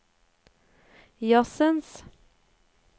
jazzens